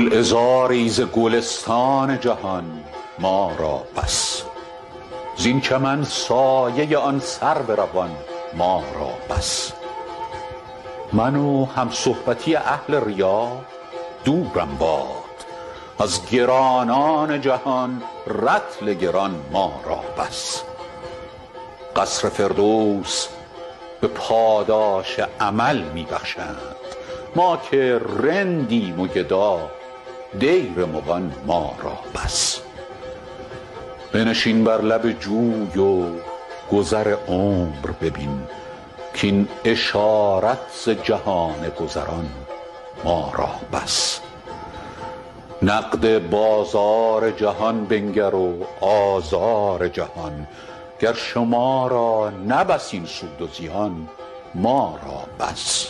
گلعذاری ز گلستان جهان ما را بس زین چمن سایه آن سرو روان ما را بس من و همصحبتی اهل ریا دورم باد از گرانان جهان رطل گران ما را بس قصر فردوس به پاداش عمل می بخشند ما که رندیم و گدا دیر مغان ما را بس بنشین بر لب جوی و گذر عمر ببین کاین اشارت ز جهان گذران ما را بس نقد بازار جهان بنگر و آزار جهان گر شما را نه بس این سود و زیان ما را بس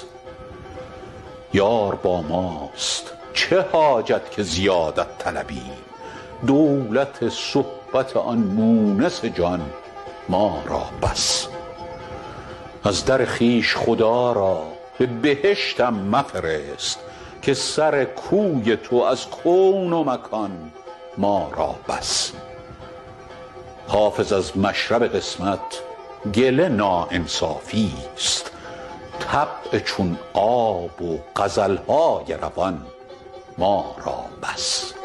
یار با ماست چه حاجت که زیادت طلبیم دولت صحبت آن مونس جان ما را بس از در خویش خدا را به بهشتم مفرست که سر کوی تو از کون و مکان ما را بس حافظ از مشرب قسمت گله ناانصافیست طبع چون آب و غزل های روان ما را بس